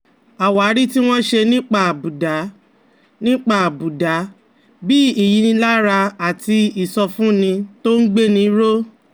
Àwárí tí wọ́n ṣe nípa àbùdá, nípa àbùdá, bí ìyínilára àti ìsọfúnni tó ń gbéni ró